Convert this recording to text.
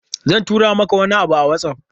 Zan tura maka wani abu a WhatsApp.